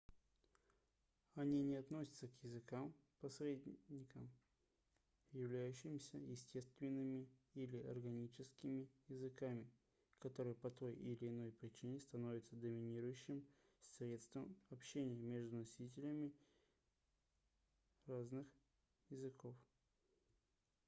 они не относятся к языкам-посредникам являющимся естественными или органическими языками которые по той или иной причине становятся доминирующим средством общения между носителями разных языков